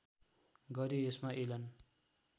गरे यसमा एलन